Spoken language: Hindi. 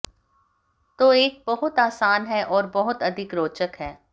तो एक बहुत आसान है और बहुत अधिक रोचक है